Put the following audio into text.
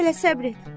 Hələ səbr et.